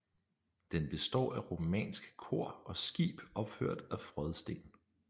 Den består af romansk kor og skib opført af frådsten